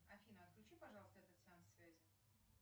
афина отключи пожалуйста этот сеанс связи